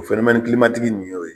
O nin y'o ye.